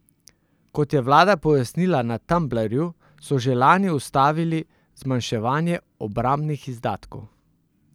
Kot je vlada pojasnila na Tumblrju, so že lani ustavili zmanjševanje obrambnih izdatkov.